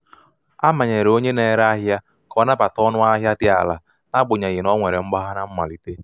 a manyere onye na-ere ahịa ka ọ nabata ọnụ ahịa dị ala n'agbanyeghị na o nwere mgbagha na mmalite.